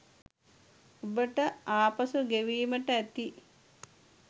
ඔබට ආපසු ගෙවීමට ඇති